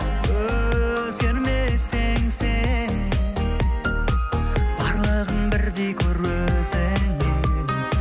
өзгермесең сен барлығын бірдей көр өзіңдей